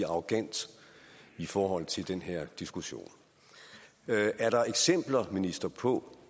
arrogant i forhold til den her diskussion er der eksempler minister på